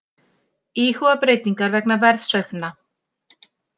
Íhuga breytingar vegna verðsveiflna